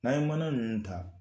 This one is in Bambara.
N'an ye mana ninnu ta